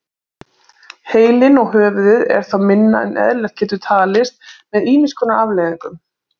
Heilinn og höfuðið er þá minna en eðlilegt getur talist með ýmis konar afleiðingum.